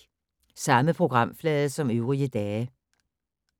Samme programflade som øvrige dage